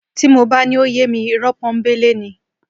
Tí mo bá ní ó yé mi, ìrọ́ pọ́nńbélé ni